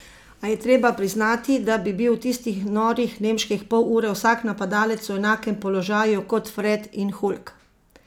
A je treba priznati, da bi bil v tistih norih nemških pol ure vsak napadalec v enakem položaju kot Fred in Hulk.